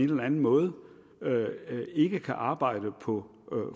den anden måde ikke kan arbejde på